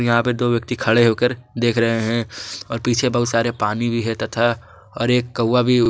यहां पर दो व्यक्ति खड़े होकर देख रहे हैं और पीछे बहुत सारे पानी भी है तथा और एक कौवा भी है।